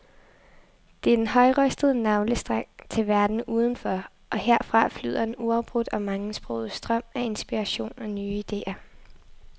Det er den højrøstede navlestreng til verden udenfor, og herfra flyder en uafbrudt og mangesproget strøm af inspiration og nye idéer.